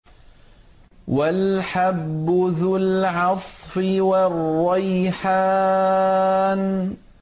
وَالْحَبُّ ذُو الْعَصْفِ وَالرَّيْحَانُ